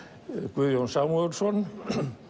Guðjón Samúelsson